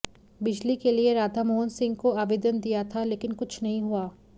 बिजली के लिए राधामोहन सिंह को आवेदन दिया था लेकिन कुछ नहीं हुआ